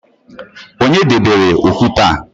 Onye debere okwute a?